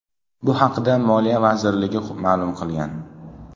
Bu haqda Moliya vazirligi ma’lum qilgan .